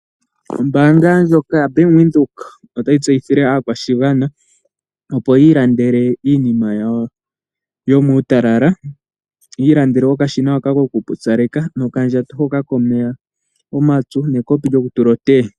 Ombaanga ndjoka yaBank Windhoek otayi tseyithile aakwashigwana opo yi ilandele iinima yawo yo muutalala, yi ilandele okashina hoka ko kupopyaleka nokandjako hoka komeya omapyu nekopi lyoku tula oteye.